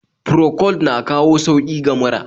Procold na kawo sauki ga mura